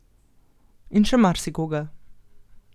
In še marsikoga.